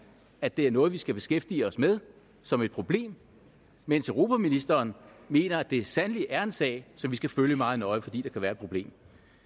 at det er noget vi skal beskæftige os med som et problem mens europaministeren mener at det sandelig er en sag som vi skal følge meget nøje fordi der kan være et problem